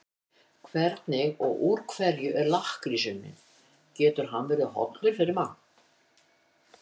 Hvernig og úr hverju er lakkrís unninn og getur hann verið hollur fyrir mann?